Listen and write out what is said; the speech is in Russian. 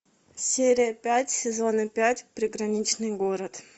серия пять сезона пять приграничный город